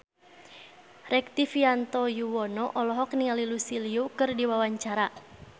Rektivianto Yoewono olohok ningali Lucy Liu keur diwawancara